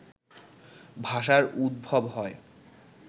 ভাষার উদ্ভব হয়